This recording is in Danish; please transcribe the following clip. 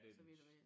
Så vidt jeg ved